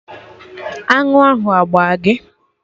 Aṅụ ahụ agbaa gị?